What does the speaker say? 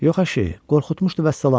Yox əşi, qorxutmuşdu vəssalam.